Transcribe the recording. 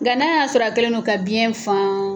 Nka n'a y'a sɔrɔ a kɛlen don ka biyɛn faan